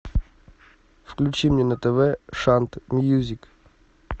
включи мне на тв шант мьюзик